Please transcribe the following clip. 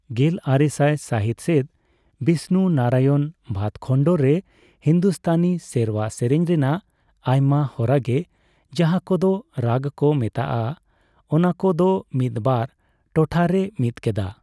ᱜᱮᱞᱟᱨᱮᱥᱟᱭ ᱥᱟᱹᱦᱤᱛ ᱥᱮᱫ, ᱵᱤᱥᱱᱩ ᱱᱟᱨᱟᱭᱚᱱ ᱵᱷᱟᱛ ᱠᱷᱚᱱᱰᱚᱨᱮ ᱦᱤᱱᱫᱩᱥᱛᱟᱱᱤ ᱥᱮᱨᱣᱟ ᱥᱮᱨᱮᱧ ᱨᱮᱱᱟᱜ ᱟᱭᱢᱟ ᱦᱚᱨᱟᱜᱮ, ᱡᱟᱦᱟ ᱠᱚᱫᱚ ᱨᱟᱜ ᱠᱚ ᱢᱮᱛᱟᱜᱼᱟ, ᱚᱱᱟᱠᱚᱫᱚ ᱢᱤᱫᱵᱟᱨ ᱴᱚᱴᱷᱟᱨᱮ ᱢᱤᱫ ᱠᱮᱫᱟ ᱾